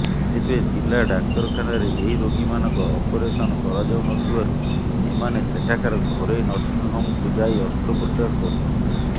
ତେବେ ଜିଲା ଡାକ୍ତରଖାନାରେ ଏହି ରୋଗୀମାନଙ୍କର ଅପରେସନ କରାଯାଉନଥିବାରୁ ଏମାନେ ଏଠାକାର ଘରୋଇ ନର୍ସିଂହୋମ୍କୁ ଯାଇ ଅସ୍ତ୍ରୋପଚାର କରୁଛନ୍ତି